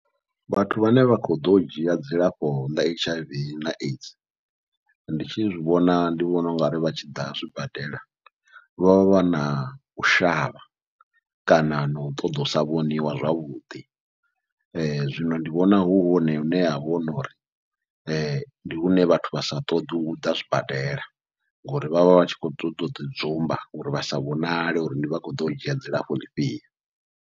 Vhathu vhane vha khou ḓo dzhia dzilafho ḽa H_I_V na AIDS, ndi tshi zwivhona ndi vhona ungari vha tshi ḓa zwibadela vha vha vha nau shavha kana nau ṱoḓa usa vhoniwa zwavhuḓi, zwino ndi vhona hu hone hune havha uri ndi hune vhathu vha sa ṱoḓi uḓa zwibadela ngori vha vha vhatshi kho ṱoḓa uḓi dzumba, uri vha sa vhonale uri ndi vha kho ḓo u dzhia dzilafho ḽifhio.